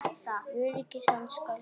Öryggis hans skal gætt.